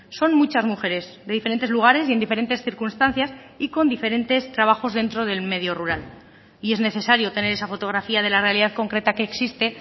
son muchas mujeres de diferentes lugares y en diferentes circunstancias y con diferentes trabajos dentro del medio rural y es necesario tener esa fotografía de la realidad concreta que existe